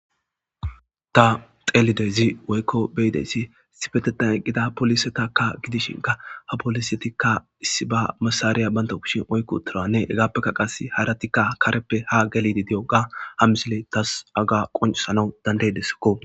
Ta xeelidezi woykko beyideyssi sifetetan eqqida polisetakka gidishinka ha polisetikka issi ba masariya baynta kushin oykko utiranne egaappekka qas haratikka kareppe ha gelidi di'o ga ha misile tas aga qoncsana dandey desakko.